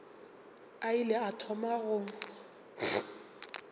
a ile a thoma go